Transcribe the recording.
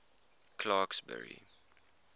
clarksburry